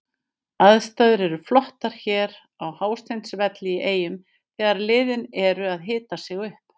Aðstæður eru flottar hér á Hásteinsvelli í Eyjum þegar liðin eru að hita sig upp.